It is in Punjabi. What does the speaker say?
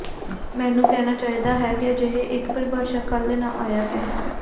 ਮੈਨੂੰ ਕਹਿਣਾ ਚਾਹੀਦਾ ਹੈ ਕਿ ਅਜਿਹੇ ਇੱਕ ਪਰਿਭਾਸ਼ਾ ਕੱਲ੍ਹ ਨਾ ਆਇਆ ਹੈ